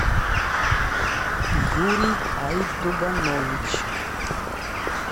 юрий айтуганович